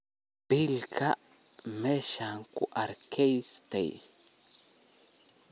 Biblka meshan kuakristey.